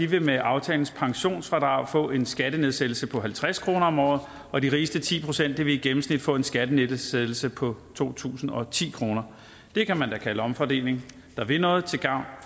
vil med aftalens pensionsfradrag få en skattenedsættelse på halvtreds kroner om året og de rigeste ti procent vil i gennemsnit få en skattenedsættelse på to tusind og ti kroner det kan man da kalde omfordeling der vil noget til gavn